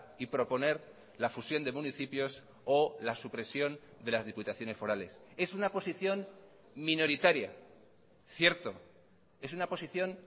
y proponer la fusión de municipios o la supresión de las diputaciones forales es una posición minoritaria cierto es una posición